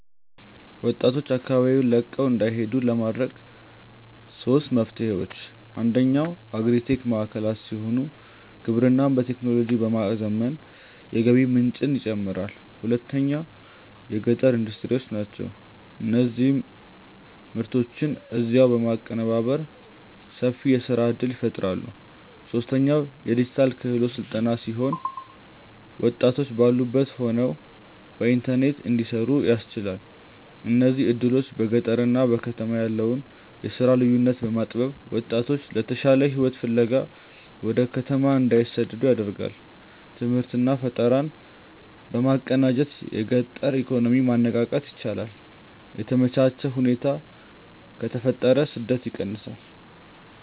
ወጣቶች አካባቢውን ለቀው እንዳይሄዱ ለማድረግ ሦስት መፍትሄዎች፦ አንደኛው አግሪ-ቴክ ማዕከላት ሲሆኑ፣ ግብርናን በቴክኖሎጂ በማዘመን የገቢ ምንጭን ይጨምራሉ። ሁለተኛው የገጠር ኢንዱስትሪዎች ናቸው፤ እነዚህ ምርቶችን እዚያው በማቀነባበር ሰፊ የሥራ ዕድል ይፈጥራሉ። ሦስተኛው የዲጂታል ክህሎት ሥልጠና ሲሆን፣ ወጣቶች ባሉበት ሆነው በኢንተርኔት እንዲሠሩ ያስችላል። እነዚህ ዕድሎች በገጠርና በከተማ ያለውን የሥራ ልዩነት በማጥበብ ወጣቶች የተሻለ ሕይወት ፍለጋ ወደ ከተማ እንዳይሰደዱ ያደርጋሉ። ትምህርትና ፈጠራን በማቀናጀት የገጠር ኢኮኖሚን ማነቃቃት ይቻላል። የተመቻቸ ሁኔታ ከተፈጠረ ስደት ይቀንሳል።